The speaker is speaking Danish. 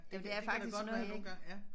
Det kan der godt være nogle gange ja